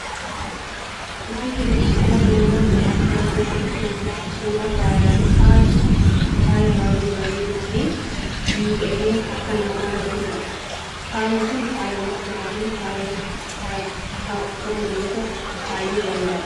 Wanti nuti suura kana irratti argaa jirru kun ammoo suuraa faayaati. Faayi kun faaya baayyee bareeduufi miidhagee harka namarra jirudha. Faayi kun faaya mormaafi faaya qubatti kaawwatamu yoo ta'u baayyee bareeda.